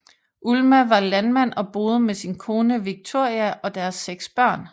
Ulma var landmand og boede med sin kone Wiktoria og deres seks børn